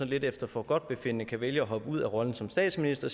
lidt efter forgodtbefindende kan vælge at hoppe ud af rollen som statsminister